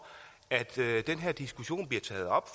at den her diskussion bliver taget op